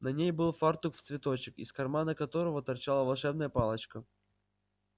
на ней был фартук в цветочек из кармана которого торчала волшебная палочка